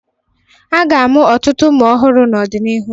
A ga-amụ ọtụtụ ụmụ ọhụrụ n'ọdịnihu.